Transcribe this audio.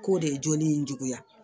K'o de ye joli in juguya